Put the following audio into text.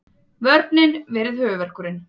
Vörnin verið höfuðverkurinn